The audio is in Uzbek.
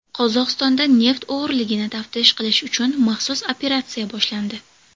Qozog‘istonda neft o‘g‘riligini taftish qilish uchun maxsus operatsiya boshlandi.